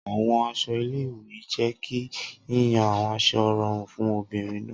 Awọn aṣọ ile-iwe jẹ ki yiyan awọn aṣọ rọrun fun obinrin naa.